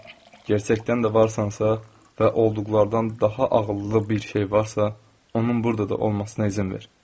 Gerçəkdən də varsansa və olduqlardan daha ağıllı bir şey varsa, onun burda da olmasına izin ver.